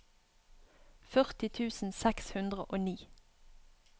førti tusen seks hundre og ni